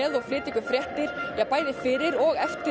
og flytja fréttir bæði fyrir og eftir